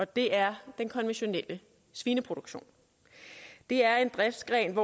det er den konventionelle svineproduktion det er en driftsgren